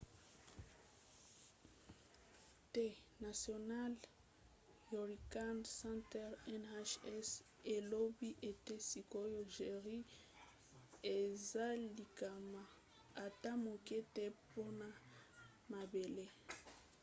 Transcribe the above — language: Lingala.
the national hurricane center nhc elobi ete sikoyo jerry eza likama ata moke te mpona mabele